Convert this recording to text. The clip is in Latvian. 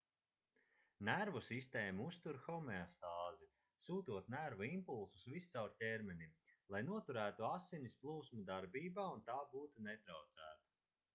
nervu sistēma uztur homeostāzi sūtot nervu impulsus viscaur ķermenim lai noturētu asins plūsmu darbībā un tā būtu netraucēta